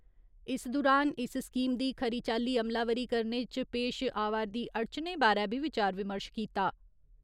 इस दुरान इस स्कीम दी खरी चाल्ली अमलावरी करने इच पेश आवा'रदी अड़चने बारै बी विचार विमर्श कीता।